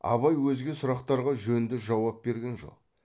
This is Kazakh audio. абай өзге сұрақтарға жөнді жауап берген жоқ